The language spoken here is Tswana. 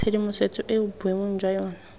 tshedimosetso eo boemong jwa yona